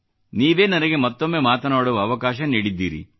ನೀವೇ ನನಗೆ ಮತ್ತೊಮ್ಮೆ ಮಾತನಾಡುವ ಅವಕಾಶ ನೀಡಿದ್ದೀರಿ